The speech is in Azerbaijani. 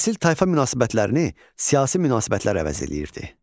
Nəsil tayfa münasibətlərini siyasi münasibətlər əvəz eləyirdi.